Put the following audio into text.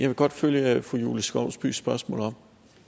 vil godt følge fru julie skovsbys spørgsmål op